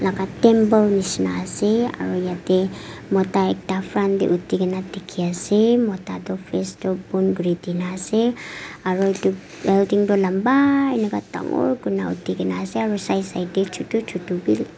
ah temple nishena ase aro yate mota ekta front de uthi gina dikhi ase mota toh face toh bon kuri dina ase aro edu building toh lamba eneka dangor kuri na uthi ase aro side side de chutu chutu b--